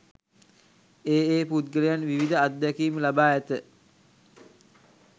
ඒ, ඒ පුද්ගලයන් විවිධ අත්දැකීම් ලබා ඇත.